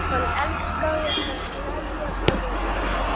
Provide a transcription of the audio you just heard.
Hann elskaði að gleðja aðra.